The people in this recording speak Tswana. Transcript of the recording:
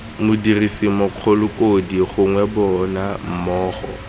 modirisi mogakolodi gongwe bona mmogo